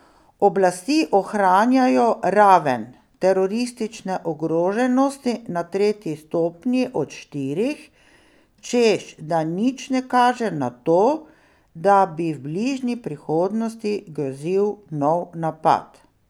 Oblasti ohranjajo raven teroristične ogroženosti na tretji stopnji od štirih, češ da nič ne kaže na to, da bi v bližnji prihodnosti grozil nov napad.